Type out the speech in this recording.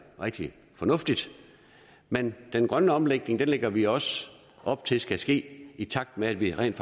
rigtig fornuftigt men den grønne omlægning lægger vi også op til skal ske i takt med at vi rent